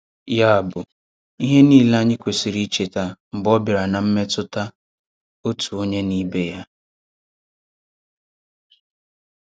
Ya bụ ihe niile anyị kwesịrị icheta mgbe ọ bịara na mmetụta otu onye na na ibe ya.